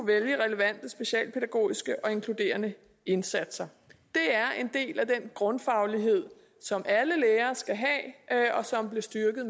vælge relevante specialpædagogiske og inkluderende indsatser det er en del af den grundfaglighed som alle lærere skal have og som blev styrket